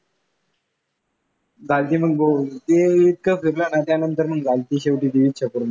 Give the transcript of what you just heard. दाजी मग भाऊ ते इतकं फिरलो ना त्यानंतर मग शेवटी झाली ती इच्छा पूर्ण.